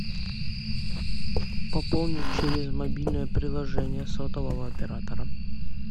пополнить через мобильное приложение сотового оператора